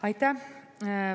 Aitäh!